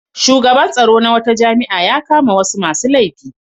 Shugaban tsaro na wata jami'a ya kama wasu masu laifi.